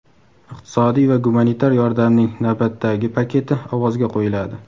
iqtisodiy va gumanitar yordamning navbatdagi paketi ovozga qo‘yiladi.